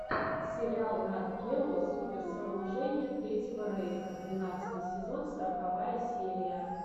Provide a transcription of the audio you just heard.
сериал нат гео суперсооружения третьего рейха двенадцатый сезон сороковая серия